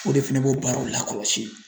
O de fɛnɛ b'o baaraw lakɔlɔsi.